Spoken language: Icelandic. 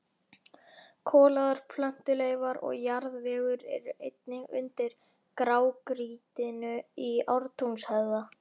Kolaðar plöntuleifar og jarðvegur eru einnig undir grágrýtinu í Ártúnshöfða.